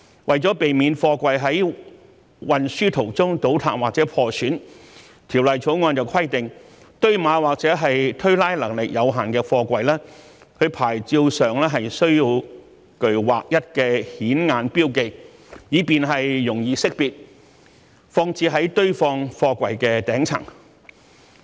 為了避免貨櫃在運輸途中倒塌或破損，《條例草案》規定堆碼或者推拉能力有限的貨櫃，其牌照上須具劃一的顯眼標記，以便容易識別，放置在堆放貨櫃的頂層。